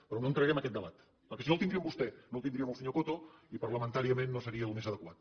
però no entraré en aquest debat perquè si no el tindria amb vostè no el tindria amb el senyor coto i parlamentàriament no seria el més adequat